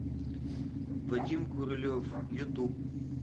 вадим курылев ютуб